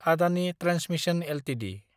Adani transmission Ltd